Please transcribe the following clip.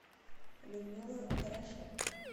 людмила дорошенко